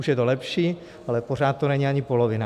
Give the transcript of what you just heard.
Už je to lepší, ale pořád to není ani polovina.